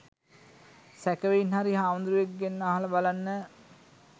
සැකෙවින් හරි හමුදුරුවෙක්ගෙන් අහල බලන්න.